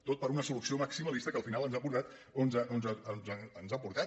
tot per una solució maximalista que al final ens ha portat on ens ha portat